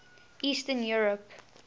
eastern europe